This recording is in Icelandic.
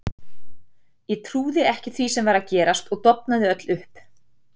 Ég trúði ekki því sem var að gerast og dofnaði öll upp.